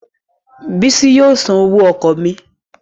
Bísí yóò san owó mótò mi